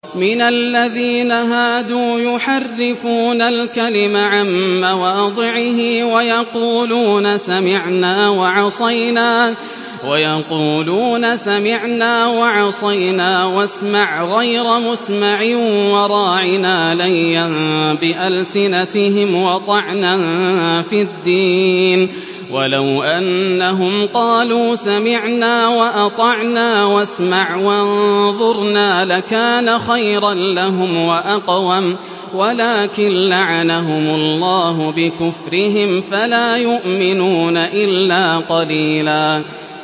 مِّنَ الَّذِينَ هَادُوا يُحَرِّفُونَ الْكَلِمَ عَن مَّوَاضِعِهِ وَيَقُولُونَ سَمِعْنَا وَعَصَيْنَا وَاسْمَعْ غَيْرَ مُسْمَعٍ وَرَاعِنَا لَيًّا بِأَلْسِنَتِهِمْ وَطَعْنًا فِي الدِّينِ ۚ وَلَوْ أَنَّهُمْ قَالُوا سَمِعْنَا وَأَطَعْنَا وَاسْمَعْ وَانظُرْنَا لَكَانَ خَيْرًا لَّهُمْ وَأَقْوَمَ وَلَٰكِن لَّعَنَهُمُ اللَّهُ بِكُفْرِهِمْ فَلَا يُؤْمِنُونَ إِلَّا قَلِيلًا